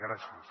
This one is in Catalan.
gràcies